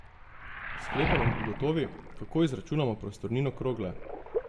S sklepanjem ugotovi, kako izračunamo prostornino krogle.